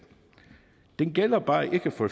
den gælder bare ikke for